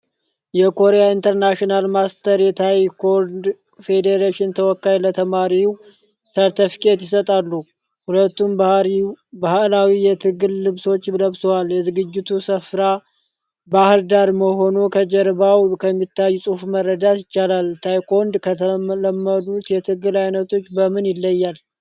የኮሪያ ኢንተርናሽናል ማስተር ታይኮንዶ ፌዴሬሽን ተወካይ ለተማሪው ሰርተፍኬት ይሰጣሉ። ሁለቱም ባህላዊ የትግል ልብሶችን ለብሰዋል። የዝግጅቱ ስፍራ ባህር ዳር መሆኑ ከጀርባው ከሚታየው ጽሁፍ መረዳት ይቻላል። ታይኮንዶ ከተለመዱት የትግል አይነቶች በምን ይለያል?